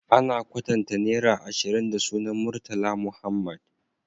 Ana kwatanta naira ashirin da sunan murtala muhammed